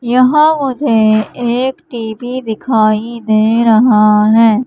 यहां मुझे एक टी_वी दिखाई दे रहा हैं।